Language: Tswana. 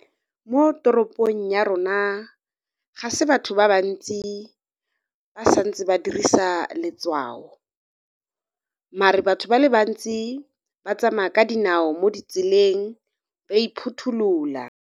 Mo toropong ya rona, ga se batho ba bantsi ba santse ba dirisa letshwao. Mare, batho ba le bantsi ba tsamaya ka dinao mo ditseleng, ba iphutholola.